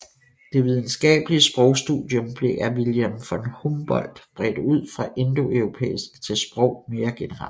Det videnskabelige sprogstudium blev af Wilhelm von Humboldt bredt ud fra indoeuropæisk til sprog mere generelt